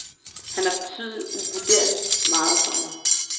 Han har betydet uvurderligt meget for mig.